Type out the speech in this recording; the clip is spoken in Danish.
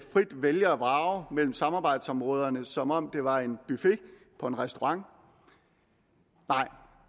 vælge og vrage mellem samarbejdsområderne som om det var en buffet på en restaurant nej